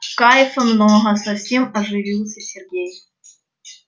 кайфа много совсем оживился сергей